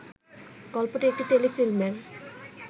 গল্পটি একটি টেলিফিল্মের